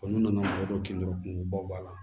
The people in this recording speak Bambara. n'u nana dɔw kin dɔrɔn kunko ba b'a la